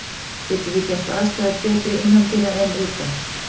Getum við gert aðstæður betri innandyra en utan?